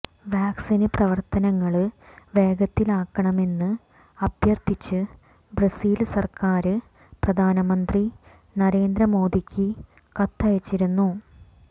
വാക്സിന് പ്രവര്ത്തനങ്ങള് വേഗത്തിലാക്കണമെന്ന് അഭ്യര്ത്ഥിച്ച് ബ്രസീല് സര്ക്കാര് പ്രധാനമന്ത്രി നരേന്ദ്ര മോദിക്ക് കത്തയച്ചിരുന്നു